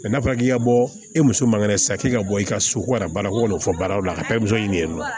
n'a fɔra k'i ka bɔ e muso man kɛnɛ sisan k'i ka bɔ i ka so ko ka na baara ko ka na o fɔ baaraw la a ka taa ni muso ɲini ye nɔ